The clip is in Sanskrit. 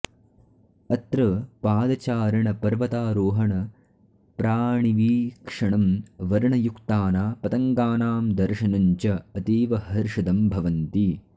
अत्र पादचारण पर्वतारोहण प्राणिवीक्षणं वर्णयुक्ताना पतङ्गानां दर्शनं च अतीव हर्षदं भवन्ति